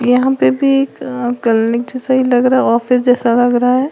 यहां पे भी एक अ क्लीनिक जैसा ही लग रहा ऑफिस जैसा लग रहा है।